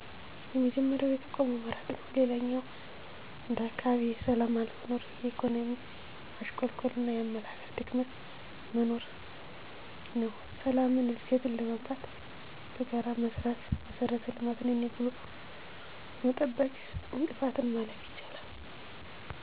የመጀመሪያው የተቋሙ መራቅ ነው። ሌላኛው እንደ አካባቢ የሠላም አለመኖር፣ የኢኮኖሚ ማሽቆልቆልና የአመለካከት ድክመት መኖር ነው። ሠላምን፣ እድገትን ለማምጣት በጋራ መሥራት አና መሠረተ ልማትን የኔ ብሎ በመጠበቅ እንቅፋትን ማለፍ ይቻላል።